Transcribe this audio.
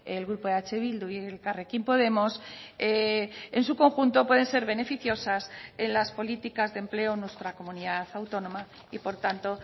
el grupo eh bildu y elkarrekin podemos en su conjunto pueden ser beneficiosas en las políticas de empleo nuestra comunidad autónoma y por tanto